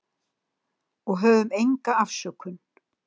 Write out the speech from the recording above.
Og höfðum enga afsökun.